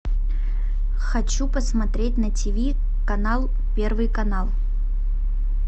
хочу посмотреть на тиви канал первый канал